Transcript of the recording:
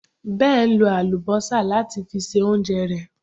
Ben lo àlùbọ́sà láti fi se oúnjẹ rẹ̀